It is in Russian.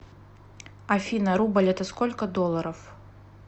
афина рубль это сколько долларов